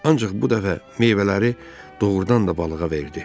Ancaq bu dəfə meyvələri doğrudan da balığa verdi.